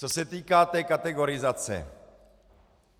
Co se týká té kategorizace.